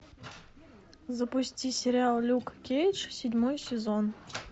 запусти сериал люк кейдж седьмой сезон